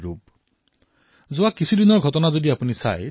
বন্ধুসকল যেতিয়া সংকটৰ সময় উপস্থিত হয় তেতিয়া এই গুণসমূহৰ পৰীক্ষা কৰা হয়